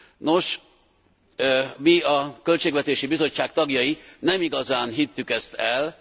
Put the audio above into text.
Nos, mi, a Költségvetési Bizottság tagjai, nem igazán hittük ezt el.